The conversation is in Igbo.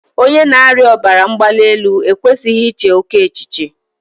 Onye na-arịa ọbara mgbali elu e kwesịghị ị che oké echiche.